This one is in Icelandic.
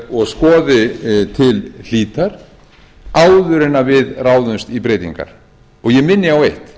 og skoði til hlítar áður en við ráðumst í breytingar og ég minni á eitt